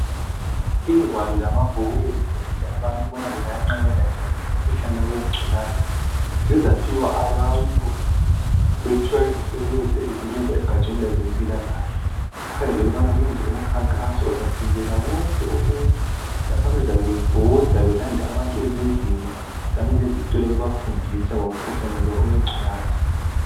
Ingwalo lamabhuku ezifundisa abantu ukubana bengayenqabela njani umkhuhlane wengculaza. Zizaphiwa abantu bephiwa yizisebenzi ezisebenza egatsheni lwezempilakahle. Kukhangelelwe ukubana kuyenzwe umkhankaso ozavumela wonke umuntu lapho abazabe bebhoda belanda abantu ezindlini kanye lezitolo bebafundisa ngomkhuhlane lowu owengculaza